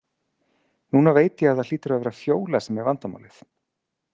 Núna veit ég að það hlýtur að vera Fjóla sem er vandamálið.